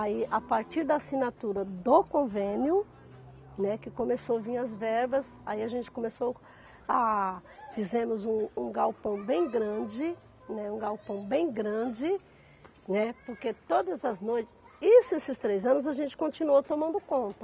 Aí, a partir da assinatura do convênio, né, que começou vir as verbas, aí a gente começou a... Fizemos um um galpão bem grande, né, um galpão bem grande, né, porque todas as noites, isso esses três anos, a gente continuou tomando conta.